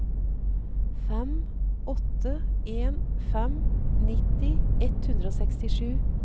fem åtte en fem nitti ett hundre og sekstisju